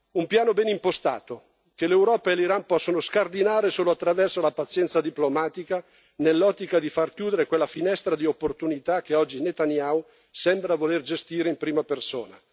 Un piano ben impostato che l'Europa e l'Iran possono scardinare solo attraverso la pazienza diplomatica, nell'ottica di far chiudere quella finestra di opportunità che oggi Netanyahu sembra voler gestire in prima persona.